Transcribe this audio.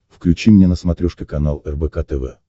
включи мне на смотрешке канал рбк тв